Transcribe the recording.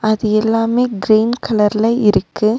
அது எல்லாமே கிரீன் கலர்ல இருக்கு.